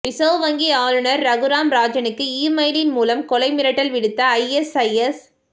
reserve வங்கி ஆளுநர் ரகுராம் ராஜனுக்கு இமெயில் மூலம் கொலை மிரட்டல் விடுத்த ஐஎஸ்ஐஎஸ்